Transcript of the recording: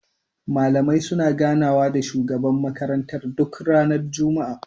Malamai suna gana wa da shugaban makaranta duk ranar juma'a